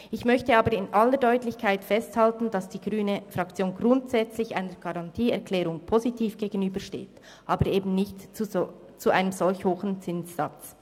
Ich möchte aber in aller Deutlichkeit festhalten, dass die grüne Fraktion grundsätzlich einer Garantieerklärung positiv gegenübersteht, aber eben nicht zu einem so hohen Zinssatz.